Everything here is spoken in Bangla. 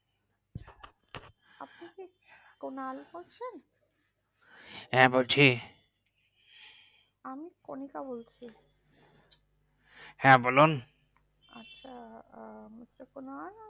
কুনাল বলছেন হ্যাঁ বলছি আমি কনিকা বলছি হ্যাঁ বলুন আচ্ছা Mr কুনাল